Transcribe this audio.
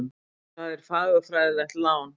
Það er fagurfræðilegt lán.